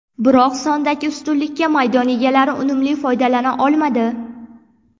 Biroq sondagi ustunlikdan maydon egalari unumli foydalana olmadi.